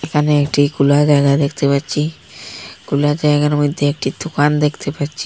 এখানে একটি খুলা জায়গা দেখতে পাচ্ছি খুলা জায়গার মধ্যে একটি দোকান দেখতে পাচ্ছি।